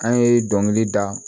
An ye dɔnkili da